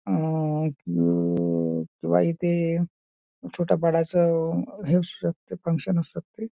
अह किंवा इथे छोटा बडा च हे असू शकतं ते फंक्शन असू शकतं.